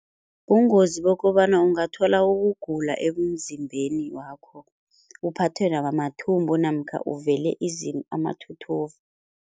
Bungozi bokobana ungathola ukugula ebumzimbeni wakho, uphathwe nakwamathumbu namkha uvele amathuthuva.